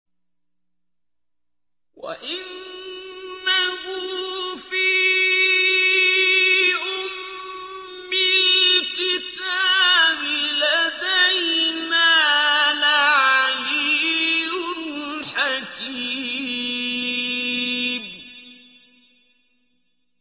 وَإِنَّهُ فِي أُمِّ الْكِتَابِ لَدَيْنَا لَعَلِيٌّ حَكِيمٌ